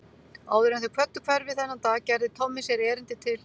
Áður en þeir kvöddu hverfið þennan dag gerði Tommi sér erindi til